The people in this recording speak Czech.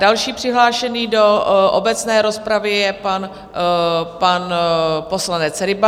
Další přihlášený do obecné rozpravy je pan poslanec Ryba.